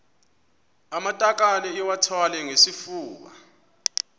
amatakane iwathwale ngesifuba